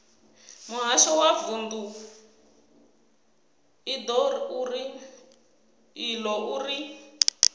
muhasho wa vundu iḽo uri